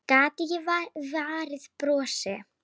Gat ekki varist brosi.